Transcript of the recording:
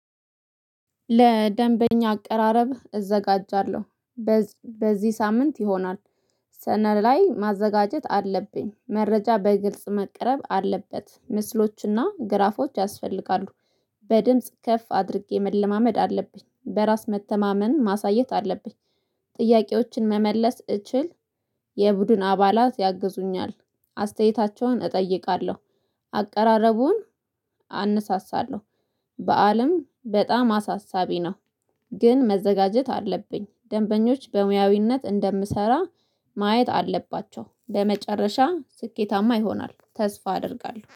ለደንበኛ አቀራረብህ እዘጋጃለሁ። በዚህ ሳምንት ይሆናል። ሰነድ ላይ ማዘጋጀት አለብኝ መረጃ በግልጽ መቅረብ አለበት ምስሎችና ግራፎች ያስፈልጋሉ። በድምጽ ከፍ አድርጌ መለማመድ አለብኝ በራስ መተማመን ማሳየት አለብኝ። ጥያቄዎችን መመለስ እችል። የቡድን አባላት ያግዙኛል። አስተያየታቸውን እጠይቃለሁ። አቀራረቡን አነሳሳለሁ። በዓልም በጣም አሳሳቢ ነው። ግን መዘጋጀት አለብኝ። ደንበኞች በሙያዊነት እንደምሰራ ማየት አለባቸው። በመጨረሻ ስኬታማ ይሆናል ተስፋ አደርጋለሁ